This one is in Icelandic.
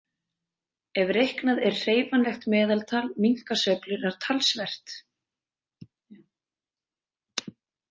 Ef reiknað er hreyfanlegt meðaltal minnka sveiflurnar talsvert.